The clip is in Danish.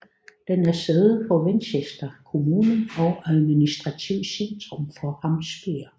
Den er sæde for Winchester kommune og administrativt centrum for Hampshire